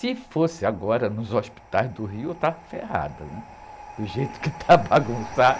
Se fosse agora nos hospitais do Rio, eu estava ferrada, né? Do jeito que está bagunçado.